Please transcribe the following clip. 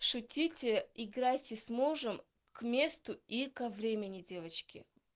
шутите играйте с мужем к месту и ко времени девочки